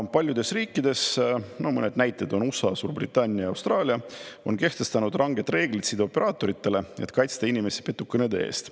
Ja paljudes riikides, no mõned näited on USA, Suurbritannia, Austraalia, on kehtestatud ranged reeglid sideoperaatoritele, et kaitsta inimesi petukõnede eest.